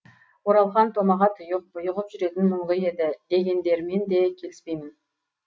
оралхан томаға тұйық бұйығып жүретін мұңлы еді дегендермен де келіспеймін